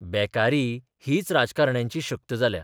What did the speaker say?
बेकारी हीच राजकारण्यांची शक्त जाल्या.